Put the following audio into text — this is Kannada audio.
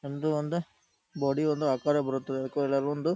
ನಮ್ದು ಒಂದು ಬಾಡಿ ಒಂದು ಆಕಾರ ಬರುತ್ತದೆ ಅದಕ್ಕೆ ಎಲ್ಲರೂ ಒಂದು--